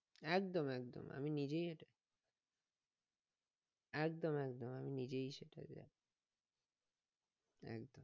একদম একদম আমি নিজের একদম একদম আমি নিজেই সেটা